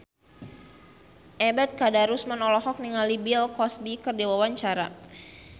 Ebet Kadarusman olohok ningali Bill Cosby keur diwawancara